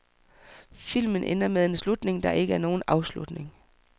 Filmen ender med en slutning, der ikke er nogen afslutning.